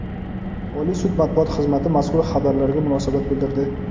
Oliy sud matbuot xizmati mazkur xabarlarga munosabat bildirdi.